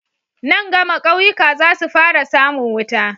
Nan gama kauyuka zasu fara samun wuta